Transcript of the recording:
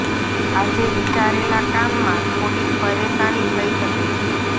આજે વિચારેલા કામ માં થોડીક પરેશાની થઇ શકે છે